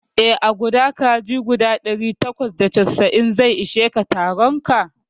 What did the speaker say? Eh, guda kaji guda ɗari takwas da casa'in zai ishe ka a taronka